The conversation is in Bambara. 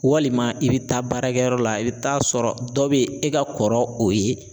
Walima i bɛ taa baarakɛyɔrɔ la i bɛ taa sɔrɔ dɔ bɛ e ka kɔrɔ o ye